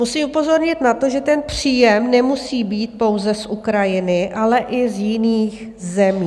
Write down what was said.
Musím upozornit na to, že ten příjem nemusí být pouze z Ukrajiny, ale i z jiných zemí.